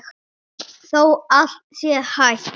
Þótt allt sé hætt?